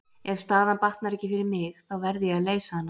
Ef staðan batnar ekki fyrir mig, þá verð ég að leysa hana.